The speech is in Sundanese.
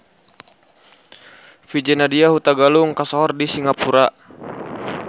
VJ Nadia Hutagalung kasohor di Singapura